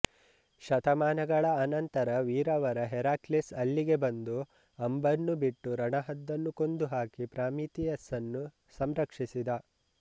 ಶತಮಾನಗಳ ಆನಂತರ ವೀರವರ ಹೆರಾಕ್ಲೀಸ್ ಅಲ್ಲಿಗೆ ಬಂದು ಅಂಬನ್ನು ಬಿಟ್ಟು ರಣಹದ್ದನ್ನು ಕೊಂದುಹಾಕಿ ಪ್ರಾಮಿತಿಯಸ್ಸನ್ನು ಸಂರಕ್ಷಿಸಿದ